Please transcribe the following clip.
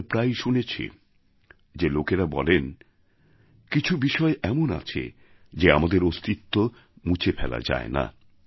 আমরা প্রায়শই শুনেছি যে লোকেরা বলেন কিছু বিষয় এমন আছে যে আমাদের অস্তিত্ব মুছে ফেলা যায় না